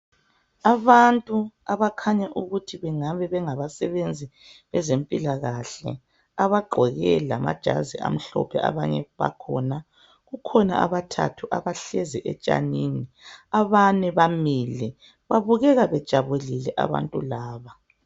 Abantu abakhanya ukuthi kungaba bengabasebenzi bezempilakahle abagqoke lamajazi amhlophe abanye bakhona kukhona abathathu abahlezi etshanini abane bamile babukeka bejabulile abantu laba.